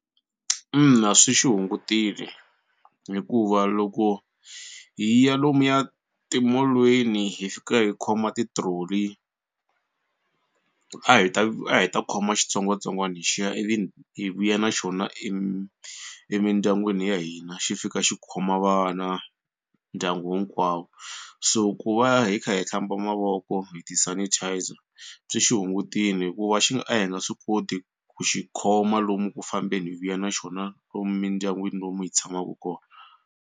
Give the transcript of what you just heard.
Ina swi xi hungutile hikuva loko hi ya lomuya timolweni hi fika hi khoma ti-trolley a hi ta a hi ta khoma xitsongwatsongwana lexiya ivi hi vuya na xona emindyangwini ya hina xi fika xi khoma vana ndyangu hinkwawo so ku va hi kha hi hlamba mavoko hi ti-sanitizer byi xi hungutile hikuva xi nga a hi nga swi koti ku xi khoma lomu ku fambeni hi vuya na xona lomu mindyangwini lomu hi tshamaka kona.